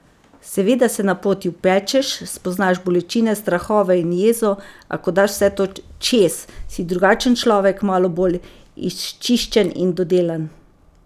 Seveda se na poti opečeš, spoznaš bolečine, strahove in jezo, a ko daš vse to čez, si drugačen človek, malo bolj izčiščen in dodelan.